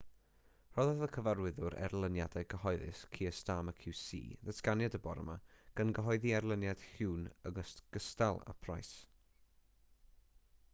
rhoddodd y cyfarwyddwr erlyniadau cyhoeddus keir starmer qc ddatganiad y bore ma gan gyhoeddi erlyniad huhne yn ogystal â pryce